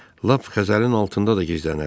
Lap xəzəlin altında da gizlənərəm.